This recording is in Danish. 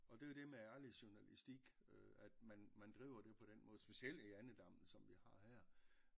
Og det er jo det med ærlig journalistik øh at man man driver det på den måde specielt i andedammen som vi har her